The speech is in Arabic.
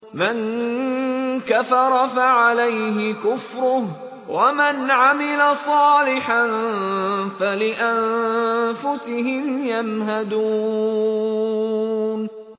مَن كَفَرَ فَعَلَيْهِ كُفْرُهُ ۖ وَمَنْ عَمِلَ صَالِحًا فَلِأَنفُسِهِمْ يَمْهَدُونَ